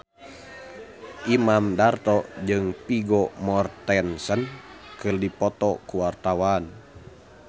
Imam Darto jeung Vigo Mortensen keur dipoto ku wartawan